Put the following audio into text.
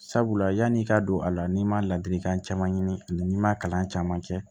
Sabula yanni i ka don a la n'i ma ladilikan caman ɲini ani ma kalan caman kɛ